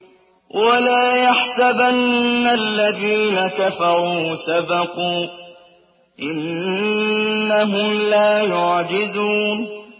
وَلَا يَحْسَبَنَّ الَّذِينَ كَفَرُوا سَبَقُوا ۚ إِنَّهُمْ لَا يُعْجِزُونَ